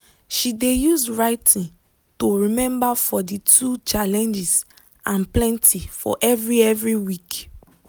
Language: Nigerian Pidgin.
she de use writing to remember for de two challenges and plenty for every every week.